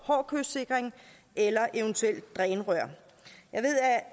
hård kystsikring eller eventuelt drænrør